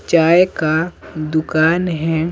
चाय का दुकान है।